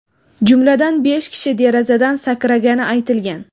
Jumladan, besh kishi derazadan sakragani aytilgan.